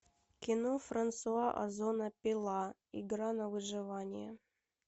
кино франсуа озона пила игра на выживание